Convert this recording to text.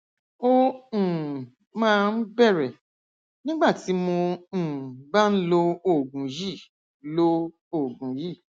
ó um máa ń bẹrẹ nígbà tí mo um bá ń lo oògùn yìí lo oògùn yìí